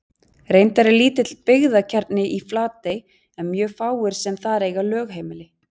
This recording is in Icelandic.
Reyndar er lítill byggðakjarni í Flatey en mjög fáir sem þar eiga lögheimili.